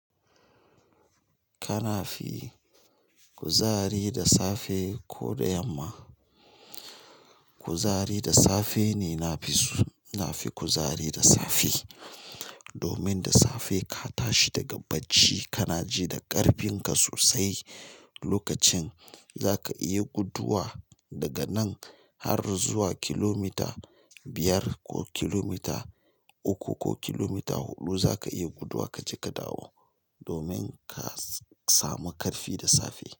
Kana fi kuzari da safe ko da yamma? Kuzari da safe ne na fi so. Na fi kuzari da safe. Domin da safe ka tashi daga bacci, kana ji da ƙarfinka sosai. Lokacin zaka iya guduwa daga nan har zuwa kilomita biyar ko kilomita uku ko kilomita huɗu zaka iya guduwa kaje ka dawo domin ka samu ƙarfi da safe.